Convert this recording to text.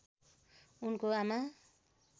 उनको आमा